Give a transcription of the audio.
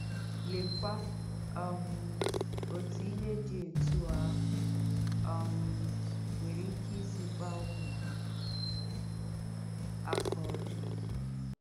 Leèkwà um òtú ìhé dì ètúọ̀ áhụ̀ um nwèrè ìké ìsì kpàà úmù hà àkà ọ́jọ̀!